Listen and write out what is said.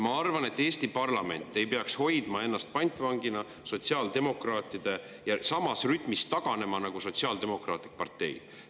Ma arvan, et Eesti parlament ei peaks ennast sotsiaaldemokraatide pantvangis hoidma ja samas rütmis taganema nagu sotsiaaldemokraatlik partei.